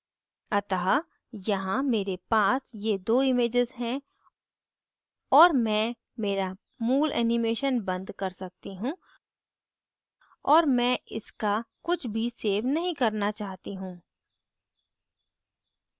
अतः यहाँ मेरे पास ये दो images हैं और मैं मेरा मूल animation बंद कर सकती हूँ और मैं इसका कुछ भी so नहीं करना चाहती हूँ